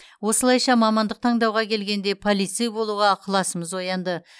осылайша мамандық таңдауға келгенде полицей болуға ықыласымыз оянды